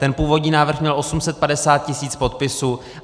Ten původní návrh měl 850 tisíc podpisů.